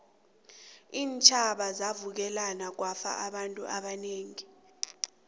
iintjhaba zavukelana kwafa abantu abanengi